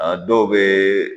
A dɔw bɛ